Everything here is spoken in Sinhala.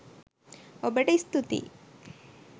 ඔබට ස්තුතියි.